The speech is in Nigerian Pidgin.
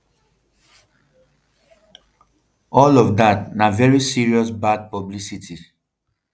all of dat na veri serious bad publicity